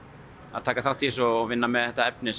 að taka þátt í þessu og vinna með þetta efni